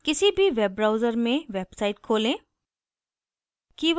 किसी भी web browser में website खोलें